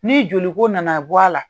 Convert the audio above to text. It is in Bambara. Ni joliko nana bɔ a la